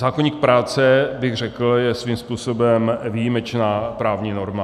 Zákoník práce, bych řekl, je svým způsobem výjimečná právní norma.